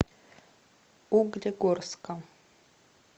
углегорска